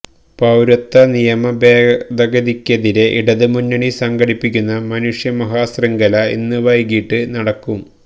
പൌരത്വ നിയമഭേദഗതിക്കെതിരെ ഇടത് മുന്നണി സംഘടിപ്പിക്കുന്ന മനുഷ്യമഹാശൃംഖല ഇന്ന് വൈകിട്ട് നടക്കും